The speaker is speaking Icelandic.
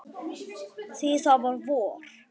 Því það var vor.